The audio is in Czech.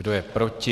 Kdo je proti?